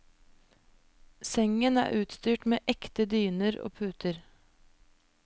Sengen er utstyrt med ekte dyner og puter.